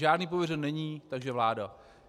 Žádný pověřený není, takže vláda.